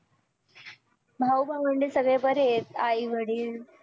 भाऊ भावंडं सगळे बरे आहेत आई वडील